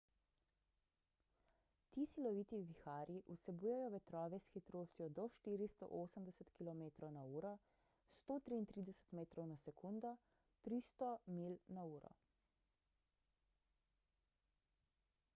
ti siloviti viharji vsebujejo vetrove s hitrostjo do 480 km/h 133 m/s; 300 mph